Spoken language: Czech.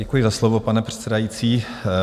Děkuji za slovo, pane předsedající.